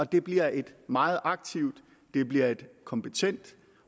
det bliver et meget aktivt det bliver et kompetent